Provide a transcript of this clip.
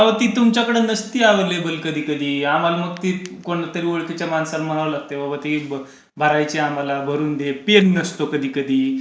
आव ते तुमच्याकडं नसती अवेलेबल कधीकधी. आम्हाला मग ते कोणत्यातरी ओळखीच्या माणसाला म्हणावं लागतंय बाबा ते भरायचंय आम्हाला भरून दे. पेन नसतो कधीकधी